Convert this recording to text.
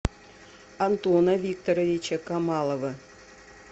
антона викторовича камалова